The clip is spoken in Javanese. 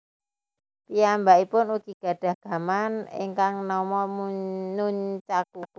Piyambakipun ugi gadhah gaman ingkang nama nunchaku